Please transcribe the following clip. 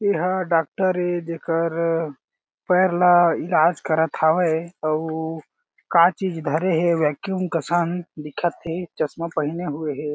ए हा डॉक्टर ए जेकर पैर ल इलाज करत हावे अउ का चीज़ धरे हें वैक्यूम कसन दिखत हें चश्मा पहिने हुए हें।